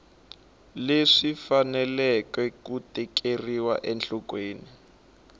leswi faneleke ku tekeriwa enhlokweni